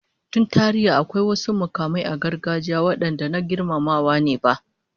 Tun tarihi, akwai wasu mukamai na gargajiya wadanda na girmamawa ne ba